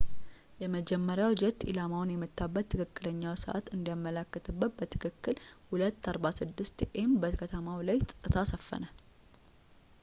የመጀመሪያው ጄት ኢላማውን የመታበት ትክክለኛውን ሰዕት እንዲያመላክት በትክክል በ8:46 a.m በከተማው ላይ ጸጥታ ሰፈነ